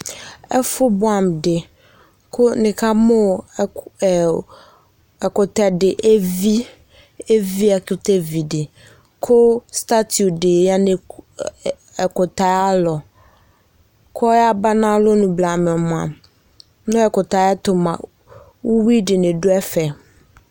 Ɛfo buamu de ko nika mo ɛku, ɛu ɛkutɛ de evi, evi , ɛkutɛ vi de ko statu de ya ɛku ɛ ɛ ɛkutɛ alɔ ko yaba nalɔmo blamɛ moa, mɛ ɛkutɛ ayero moa, uwi dene do ɛfɛ